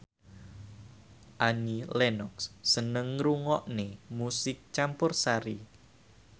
Annie Lenox seneng ngrungokne musik campursari